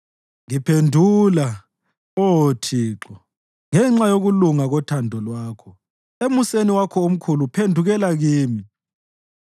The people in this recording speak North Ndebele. Ngiphendula, Oh Thixo, ngenxa yokulunga kothando lwakho; emuseni wakho omkhulu phendukela kimi.